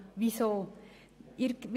Weshalb dies?